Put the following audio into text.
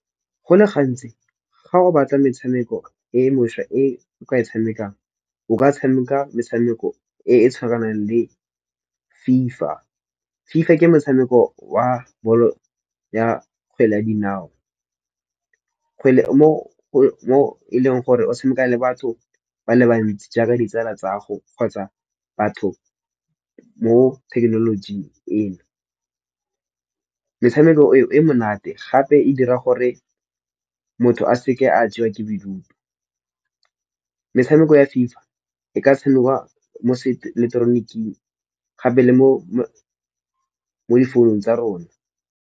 Go le gantsi ga o batla metshameko e mošwa e o ka e tshamekang o ka tshameka metshameko e e tshwanang le FIFA. FIFA ke motshameko wa bolo ya kgwele ya dinao, mo e leng gore o tshameka le batho ba le bantsi jaaka ditsala tsa gago kgotsa batho mo thekenolojing eno. Metshameko eo e monate gape e dira gore motho a seke a jewa ke bodutu. Metshameko ya FIFA e ka tshamekiwa mo seileketoroniking gape le mo difounung tsa rona.